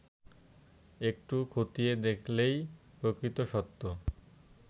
একটু খতিয়ে দেখলেই প্রকৃত সত্য